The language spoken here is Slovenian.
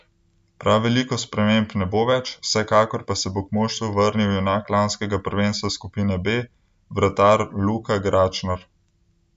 Prav veliko sprememb ne bo več, vsekakor pa se bo k moštvu vrnil junak lanskega prvenstva skupine B, vratar Luka Gračnar.